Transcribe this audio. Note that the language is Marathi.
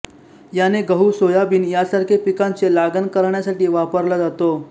याने गहु सोयाबीन यासारखे पिकांचे लागण करण्यासाठी वापरला जातो